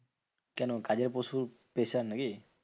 কেন কাজের প্রচুর pressure নাকি?